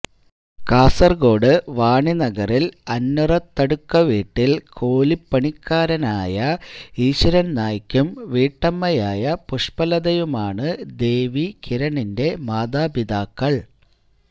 കാസര്കോട് വാണിനഗറില് അന്വറത്തടുക്ക വീട്ടില് കൂലിപ്പണിക്കാരനായ ഈശ്വരന് നായ്ക്കും വീട്ടമ്മയായ പുഷ്പലതയുമാണ് ദേവി കിരണിന്റെ മാതാപിതാക്കള്